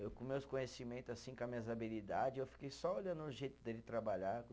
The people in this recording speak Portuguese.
Eu com meus conhecimento, assim, com as minhas habilidade, eu fiquei só olhando o jeito dele trabalhar.